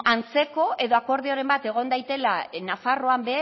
ba antzeko edo akordioren bat egon dadila nafarroan